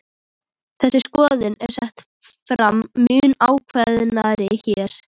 Þessi skoðun er sett fram mun ákveðnar hér.